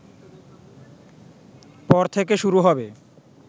পর থেকে শুরু হবে